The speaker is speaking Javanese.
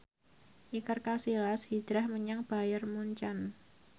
Iker Casillas hijrah menyang Bayern Munchen